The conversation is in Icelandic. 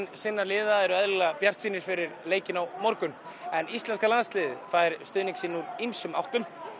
sinna liða eru eðlilega bjartsýnir fyrir leikinn á morgun en íslenska landsliðið fær stuðning úr ýmsum áttum og